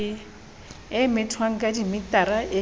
e methwang ka dimetara e